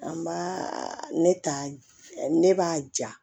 An b'a ne ta ne b'a ja